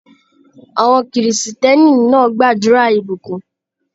Àwọn kìrìsìtẹ́ẹ̀nì náà gbàdúrà ìbùkún.